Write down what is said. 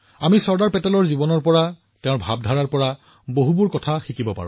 আমি চৰ্দাৰ পেটেলজীৰ জীৱনৰ পৰা তেওঁৰ চিন্তাৰ পৰা বহুতো শিকিব পাৰো